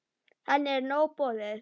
Henni er nóg boðið.